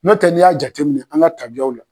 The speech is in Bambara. Notɛ n'i y'a jateminɛ an ka tabiyaw la.